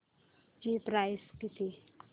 ची प्राइस किती